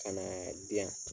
Ka na di yan.